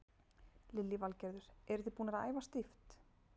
Lillý Valgerður: Eru þið búnar að æfa stíft?